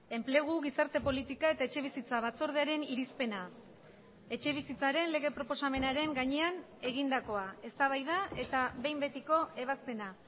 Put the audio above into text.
enplegu gizarte politika eta etxebizitza batzordearen irizpena etxebizitzaren lege proposamenaren gainean egindakoa eztabaida eta behin betiko ebazpena